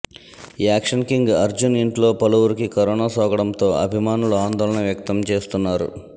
action king Arjun ఇంట్లో పలువురికి corona సోకడంతో అభిమానులు ఆందోళన వ్యక్తం చేస్తున్నారు